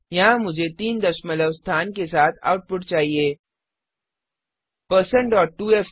यहाँ मुझे तीन दशमलव स्थानडेसिमल प्लेसेस के साथ आउटपुट चाहिए